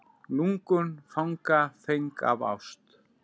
Lungun fanga feng af ást.